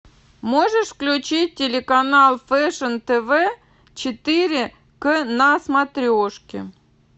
можешь включить телеканал фэшн тв четыре к на смотрешке